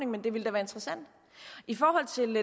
men det ville være interessant i forhold til